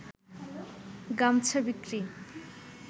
গামছা বিক্রি